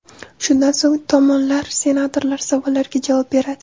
Shundan so‘ng tomonlar senatorlar savollariga javob beradi.